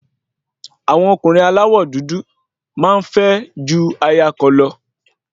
Àwọn ọkùnrin aláwọ̀ dúdú máa ń fẹ́ ju aya kan lọ